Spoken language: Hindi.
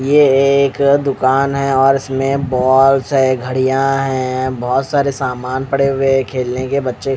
ये एक दुकान है और इसमें बॉल्स है घडिया है बहुत सारे सामान पड़े हुए है खेलने के बच्चे--